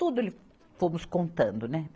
Tudo ele, fomos contando, né?